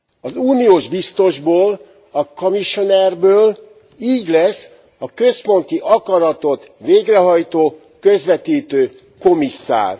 Az uniós biztosból, a commissioner ből így lesz a központi akaratot végrehajtó, közvetítő komisszár.